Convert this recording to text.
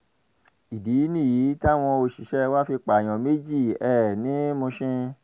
ìdí nìyí táwọn òṣìṣẹ́ wa fi pààyàn méjì um ní mushin